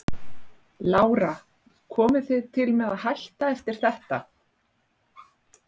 Lára: Komið þið til með að hætta eftir þetta?